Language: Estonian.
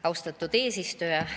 Austatud eesistuja!